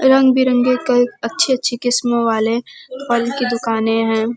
रंग बिरंगी कई अच्छी अच्छी किस्मों वाले फल की दुकानें हैं।